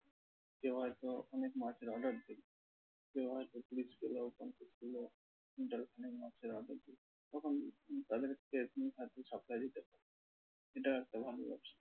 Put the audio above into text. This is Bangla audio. কেউ হয়তো অনেক মাছের order দেবে, কেউ হয়তো ত্রিশ কিলো পঞ্চাশ কিলো, কুইন্টাল খানিক মাছের order দিল। তখন তুমি তাদেরকে তুমি হয়তো supply দিতে পারবে, এটাও একটা ভালো ব্যবসা।